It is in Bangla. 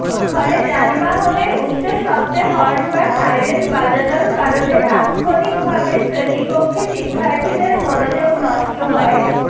ফলে যানবাহনের উচ্চ শব্দে হর্ন বা সাইরেন বাজানোর কারণে তাত্ক্ষণিকভাবে শ্রেণিকক্ষে শিক্ষার্থীদের মনোযোগ নষ্ট হয়